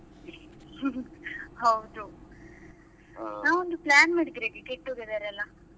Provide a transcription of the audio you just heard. ಹೌದು. ನಾವ್ ಒಂದು plan ಮಾಡಿದ್ರೆ ಹೇಗೆ get together ಎಲ್ಲಾ.